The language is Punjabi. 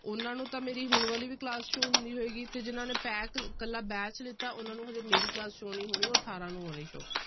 ਉਹਨਾਂ ਨੂੰ ਤਾਂ ਮੇਰੀ ਹੁਣ ਵਾਲੀ ਵੀ class show ਹੁੰਦੀ ਹੋਏਗੀ ਤੇ ਜਿਹਨਾਂ ਨੇ pack ਇਕੱਲਾ batch ਲਿੱਤਾ ਉਹਨਾਂ ਨੂੰ ਹਜੇ ਮੇਰੀ class show ਨੀ ਹੋਣੀ ਉਹ ਅਠਾਰਾਂ ਨੂੰ ਹੋਣੀ show